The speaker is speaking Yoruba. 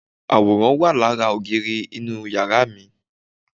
Àwòrán wà lára ògiri inú yàrá mi